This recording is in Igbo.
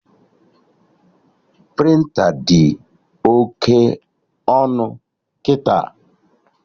Prịnta dị oke ọnụ kịta